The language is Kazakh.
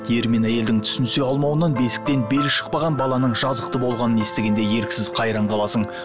ер мен әйелдің түсінісе алмауынан бесіктен белі шықпаған баланың жазықты болғанын естігенде еріксіз қайран қаласың